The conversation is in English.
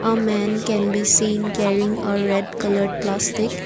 a man can be seen carrying a red coloured plastic.